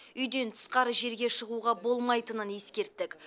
үйден тысқары жерге шығуға болмайтынын ескерттік